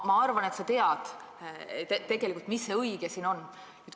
Ma arvan, et sa tead tegelikult, mis on õige.